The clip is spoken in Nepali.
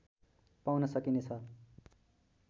पाउन सकिने छ